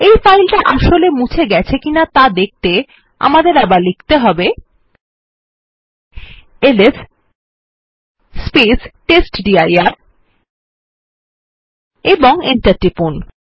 এই ফাইলটা আসলে মুছে ফেলা হয়েছে কি না দেখতে আমাদের আবার প্রেস করতে হবে টেস্টডির এবং এন্টার টিপুন